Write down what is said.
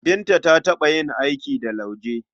Binta ta taɓa yin aiki da lauje.